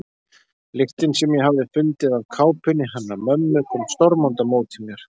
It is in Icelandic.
Lyktin sem ég hafði fundið af kápunni hennar mömmu kom stormandi á móti mér.